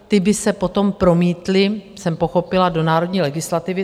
Ty by se potom promítly - jsem pochopila - do národní legislativy.